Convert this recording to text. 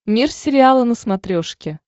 мир сериала на смотрешке